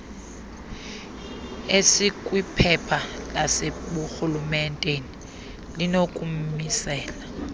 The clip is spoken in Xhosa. esikwiphepha laseburhulementeni linokumisela